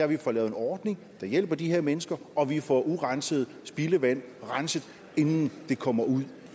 vi får lavet en ordning der hjælper de her mennesker og at vi får urenset spildevand renset inden det kommer ud